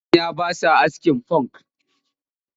Manya ba sa askin funk